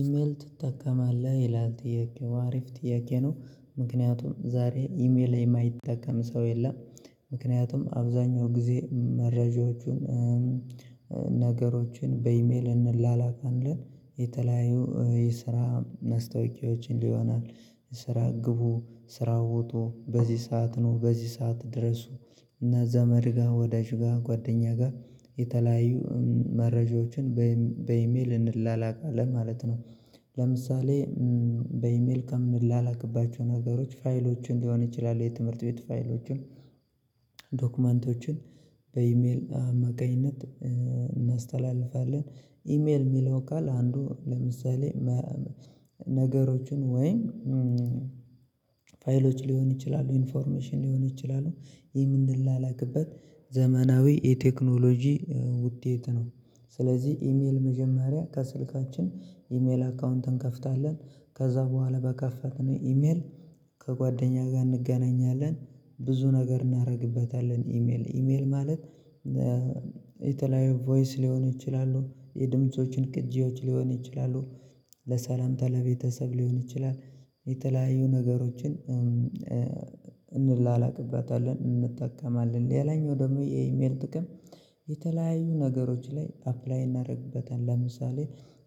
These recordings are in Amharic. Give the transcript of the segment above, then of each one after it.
ኢሜይል ትጠቀማለህ? ይላል ጥያቄው። አሪፍ ጥያቄ ነው። ምክንያቱም ዛሬ ኢሜይል የማይጠቀም ሰው የለም። ምክንያቱም አብዛኛው ጊዜ መረጃዎችን ነገሮችን በኢሜይል እንላላካለን። የተለያዩ የስራ ማስታወቂያዎችን ይሆናል፤ ስራ ግቡ፤ ስራ ወጡ፤ በዚህ ሰዓት ኑ፤ በዚህ ሰዓት ድረሱ እና ዘመድ ጋር ወዳጅ ጋር ጓደኛ ጋር የተለያዩ መረጃዎችን በኢሜይል እንላላካለን ማለት ነው ለምሳሌ በኢሜይል ከምላላክባቸው ነገሮች ፋይሎችን ሊሆን ይችላል፤ የትምህርት ቤት ፋይሎችን፤ ዶክመንቶችን በኢሜይል አማካኝነት እናስተላልፋለን። ኢሜል የሚለው ቃል አንዱ ለምሳሌ ነገሮችን ወይም ፋይሎች ሊሆኑ ይችላሉ፤ ኢንፎርሜሽን ሊሆኑ ይችላሉ የምንላላክበት ዘመናዊ የቴክኖሎጂ ውጤት ነው። ስለዚህ ኢሜይል መጀመሪያ ከስልካችን ኢሜይል አካውንት እንከፍታለን። ከዛ በኋላ በከፈትነው ኢሜይል ከጓደኛ ጋር እንገናኛለን ብዙ ነገር እናደርግበታለን ኢሜይል ኢሜይል ማለት የተለያዩ ቮይስ ሊሆኑ ይችላሉ የድምፆችን ቅጂዎች ሊሆኑ ይችላሉ ለሰላምታ ለቤተሰብ ሊሆን ይችላል የተለያዩ ነገሮችን እንላላክበታለን እንጠቀማለን። ሌላኛው ደግሞ የኢሜይል ጥቅም የተለያዩ ነገሮች ላይ አፕላይ እናደርግበታለን። ለምሳሌ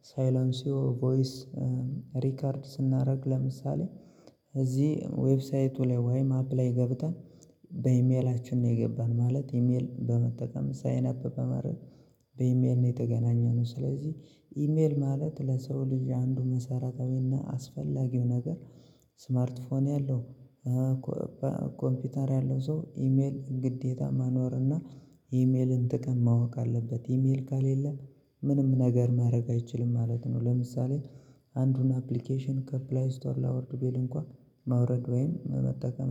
ሳይለንሲዮ ቮይስ ሪከርድ ስናደርግ ለምሳሌ እዚህ ዌብሳይቱ ላይ ወይ አፕ ላይ ገብተን በኢሜይላችን ነው የገባን ማለት ኢሜል በመጠቀም ሳይን አፕ በማድረግ በኢሜይል ነው የተገናኘነው። ስለዚህ ኢሜይል ማለት ለሰው ልጅ አንዱ መሰረታዊና አስፈላጊው ነገር ስማርት ፎን ያለው ኮምፒውተር ያለው ሰው ኢሜይል ግዴታ መኖር እና የኢሜይልን ጥቅም ማወቅ አለበት። ኢሜይል ከሌለ ምንም ነገር ማድረግ አይችልም ማለት ነውደ ለምሳሌ አንዱን አፕሊኬሽን ከፕሌይ ስቶር ላወርድ ቢል እንኳን ማውረድ ወይም መጠቀም